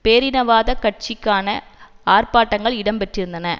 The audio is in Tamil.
பேரினவாத கட்சிக்கான ஆர்ப்பாட்டங்கள் இடம்பெற்றிருந்தன